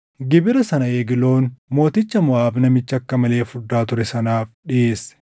Gibira sana Egloon mooticha Moʼaab namicha akka malee furdaa ture sanaaf dhiʼeesse.